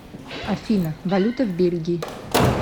афина валюта в бельгии